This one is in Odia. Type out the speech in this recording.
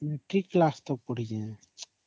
matric class ଯାଏଁ ପଢିଛି